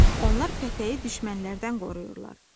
Onlar pətəyi düşmənlərdən qoruyurlar.